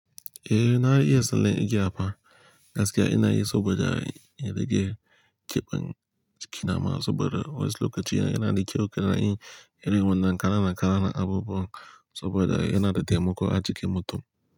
Eh na iya tsallon igiya fa. Gaskiya ina yi saboda in rage ƙibon jiki na ma saboda wasu lokaci yana da kyau ka na yin irij wannan kana kananan abubuwan saboda yana da taimako a jikin mutum.